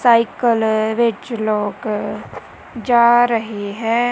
Cycle ਵਿੱਚ ਲੋਕ ਜਾ ਰਹੇ ਹੈ।